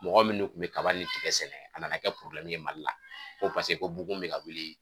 Mɔgɔ minnu tun bɛ kaba ni tigɛ sɛnɛ, a nana kɛ ye Mali la ko paseke bugun bi ka wuli